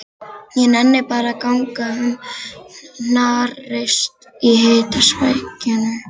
Ég nenni bara að ganga um hnarreist í hitasvækjunni.